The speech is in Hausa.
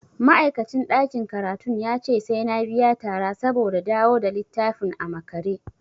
Ma'aikacin ɗakin karatun yace sai na biya tara saboda dawo da littafin a makare.